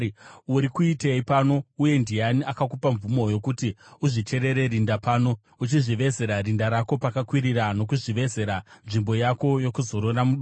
Uri kuitei pano uye ndiani akakupa mvumo yokuti uzvicherere rinda pano, uchizvivezera rinda rako pakakwirira nokuzvivezera nzvimbo yako yokuzorora mudombo?